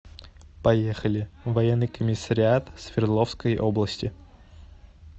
поехали военный комиссариат свердловской области